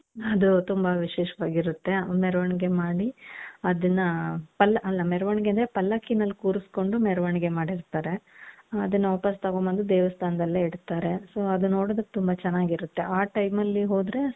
ಅದು ತುಂಬಾ ವಿಶೇಷವಾಗಿ ಇರುತ್ತೆ ಮೆರವಣಿಗೆ ಮಾಡಿ ಅದುನ್ನ ಪಲ್ಲ ಅಲ್ಲ ಮೆರವಣಿಗೆ ಅಂದ್ರೆ ಪಲ್ಲಕಿಯಲ್ಲಿ ಕುರಸ್ಕೊಂಡು ಮೆರವಣಿಗೆ ಮಾಡಿರ್ತಾರೆ ಅದುನ್ನ ವಾಪಾಸ್ ತಗೊಂಡ್ಬಂದು ದೇವಸ್ತನದಲ್ಲೇ ಇಡ್ತಾರೆ so ಅದು ನೋಡೋದುಕ್ಕೆ ತುಂಬಾ ಚೆನ್ನಾಗಿರುತ್ತೆ ಆ time ಅಲ್ಲಿ ಹೋದ್ರೆ .